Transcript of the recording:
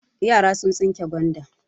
Yara sun tsinke gwanda.